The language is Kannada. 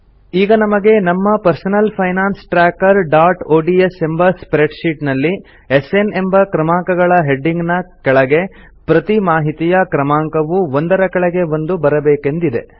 ಈಗ ನಮಗೆ ನಮ್ಮ ಪರ್ಸನಲ್ ಫೈನಾನ್ಸ್ trackerodsಎಂಬ ಸ್ಪ್ರೆಡ್ ಶೀಟ್ ನಲ್ಲಿ ಎಸ್ಎನ್ ಎಂಬ ಕ್ರಮಾಂಕಗಳ ಹೆಡಿಂಗ್ ನ ಕೆಳಗೆ ಪ್ರತಿ ಮಾಹಿತಿಯ ಕ್ರಮಾಂಕವು ಒಂದರ ಕೆಳಗೆ ಒಂದು ಬರಬೇಕೆಂದಿದೆ